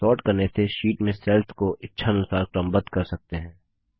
sort करने से sheet में सेल्स को इच्छा अनुसार क्रमबद्ध कर सकते हैं